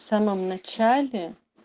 в самом начале